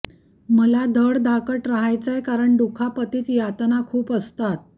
मला धडधाकट रहायचंय कारण दुखापतीत यातना खूप असतात